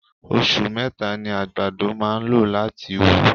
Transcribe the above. Osù meta ni àgbàdo máà ń lò láti wù.